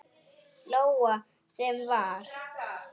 Lóa: Sem var?